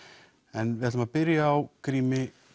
en við byrjum á Grími